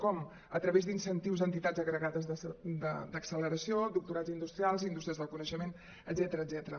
com a través d’incentius a entitats agregades d’acceleració doctorats industrials indústries del coneixement etcètera